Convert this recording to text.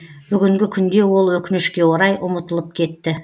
бүгінгі күнде ол өкінішке орай ұмытылып кетті